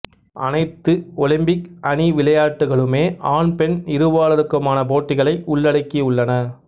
அனைத்து ஒலிம்பிக் அணி விளையாட்டுகளுமே ஆண்பெண் இருபாலருக்குமான போட்டிகளை உள்ளடக்கியுள்ளன